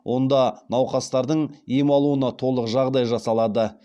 онда науқастардың ем алуына толық жағдай жасалады